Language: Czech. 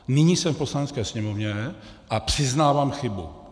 Nyní jsem v Poslanecké sněmovně a přiznávám chybu.